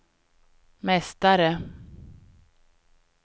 mästare